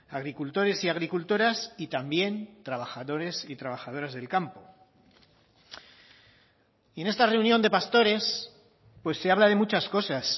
agricultores y agricultoras y también trabajadores y trabajadoras del campo y en esta reunión de pastores pues se habla de muchas cosas